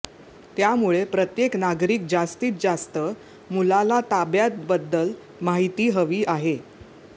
त्यामुळे प्रत्येक नागरिक जास्तीत जास्त मुलाला ताब्यात बद्दल माहिती हवी आहे